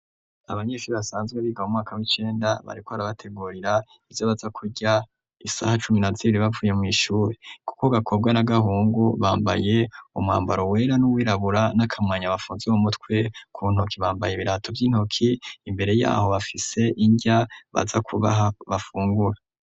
Abanyeshuri basanzwe biga mu mwaka w'icenda bariko arabategurira ivyo baza kurya isaha cumi naziriribavuye mw'ishuri, kuko gakobwa na gahungu bambaye umwambaro wera n'uwirabura n'akamwanya bafunze mu mutwe ku ntoki bambaye ibirato vy'intoki imbere yaho bafise indya baza kubaha bafungura.